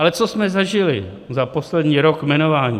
Ale co jsme zažili za poslední rok jmenování?